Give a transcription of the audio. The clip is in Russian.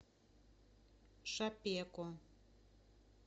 шапеко